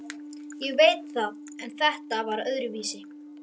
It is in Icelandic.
Ég veit það en þetta var öðruvísi.